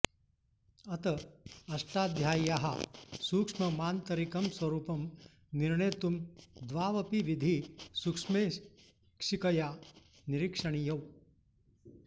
अत अष्टाध्याय्याः सूक्ष्ममान्तरिकं स्वरूपं निर्णेतुम् द्वावपि विधी सूक्ष्मेक्षिकया निरीक्षणीयौ